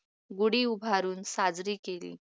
गुढी उभारून साजरी केली